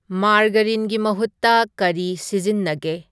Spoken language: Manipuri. ꯃꯥꯔꯒꯔꯤꯟꯒꯤ ꯃꯍꯨꯠꯇ ꯀꯔꯤ ꯁꯤꯖꯤꯟꯅꯒꯦ